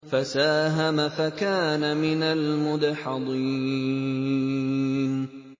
فَسَاهَمَ فَكَانَ مِنَ الْمُدْحَضِينَ